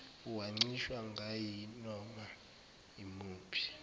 uwancishwa ngayinoma umuphi